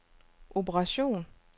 operation